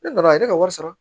Ne nana a ye ne ka wari sara